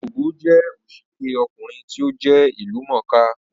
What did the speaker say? Ògògó jẹ́ òṣèré ọkùnrin tí ó jẹ́ ìlú mọ̀ọ́ kà